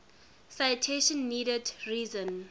citation needed reason